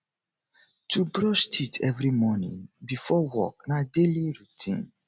to brush teeth every morning before work na daily routine